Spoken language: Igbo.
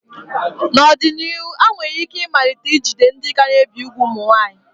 N'ọdịnihu, ha nwere ike ịmalite ijide ndị ka na-ebi úgwù ụmụ nwaanyị.